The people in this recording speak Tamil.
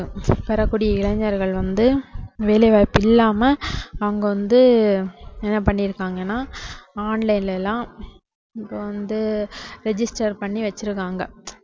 பெறக்கூடிய இளைஞர்கள் வந்து வேலைவாய்ப்பு இல்லாம அவங்க வந்து என்ன பண்ணிருக்காங்கன்னா online ல எல்லாம் இப்போ வந்து register பண்ணி வச்சிருக்காங்க